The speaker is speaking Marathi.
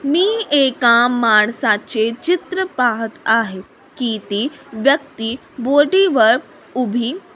मी एका माणसाचे चित्र पाहत आहे की ती व्यक्ति बोटीवर उभी --